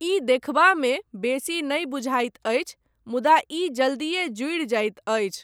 ई देखबामे बेसी नहि बुझाइत अछि, मुदा ई जल्दीए जुड़ि जाइत अछि।